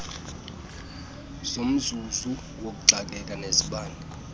zomzuzu wokuxakeka nezibane